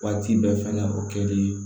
Waati bɛɛ fɛnɛ o kɛlen